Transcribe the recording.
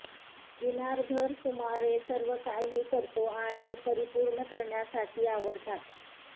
दिनार घर सुमारे सर्वकाही करतो आणि परिपूर्ण करण्यासाठी आवडतात